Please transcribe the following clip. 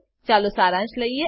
ચાલો સારાંશ લઈએ